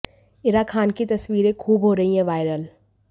इरा खान की तस्वीरें खूब हो रही हैं वायरल